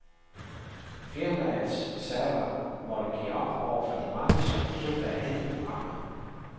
Firmaets server måtte give op over for de mange, som forsøgte at hente programmet.